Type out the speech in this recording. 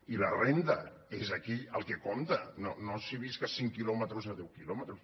i la renda és aquí el que compta no si visc a cinc quilòmetres o a deu quilòmetres